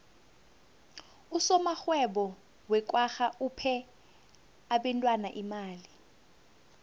usomarhwebo wekwagga uphe abentwana imali